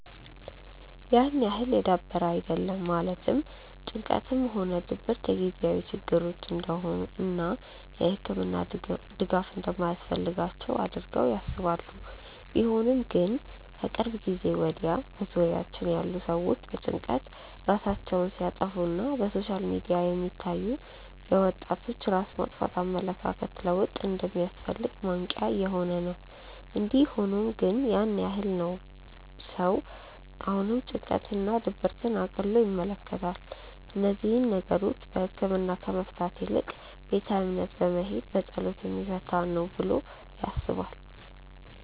ያን ያህል የዳበረ አይደለም ማለትም ጭንቀትም ሆነ ድብረት የጊዜያዊ ችግሮች እንደሆኑ እና የህክምና ድጋፍ እንደማያስፈልጋቸው አድርገው ያስባሉ። ቢሆንም ግን ከቅርብ ጊዜ ወድያ በዙሪያችን ያሉ ሰዎች በጭንቀት ራሳቸውን ሲያጠፋ እና በሶሻል ሚዲያ የሚታዩ የወጣቶች ራስ ማጥፋት የኣመለካከት ለውጥ እንደሚያስፈልግ ማንቅያ እየሆነ ነው። እንዲ ሆኖም ግን ያን ያህል ነው ሰው አሁንም ጭንቀት እና ድብርትን እቅሎ ይመለከታል። እነዚህን ነገሮች በህክምና ከመፍታት ይልቅ ቤተ እምነት በመሄድ በፀሎት የሚፈታ ነው ተብሎ ይታሰባል።